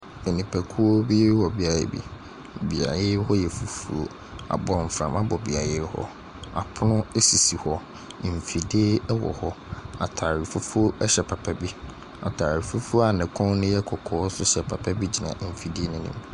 Nipako bi wɔ beaeɛ bi. Beaeɛ hɔ yɛ fufuo. Abɔnframa bɔ beaeɛ yi hɔ. Apono sisi hɔ. Mfidie wɔ hɔ. Atade fufuo hyɛ papa bi. Atade fufuo a ne kɔn no yɛ kɔkɔɔ nso hyɛ papa bi gyina mfidie no ho.